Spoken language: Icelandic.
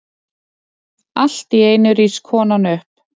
Alltíeinu rís konan upp.